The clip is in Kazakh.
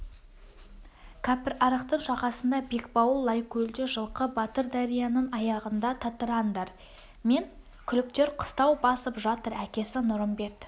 кәпірарықтың жағасында бекбауыл лайкөлде жылқы батыр дарияның аяғында татырандар мен күліктер қыстау басып жатыр әкесі нұрымбет